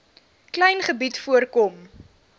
klein gebied voorkom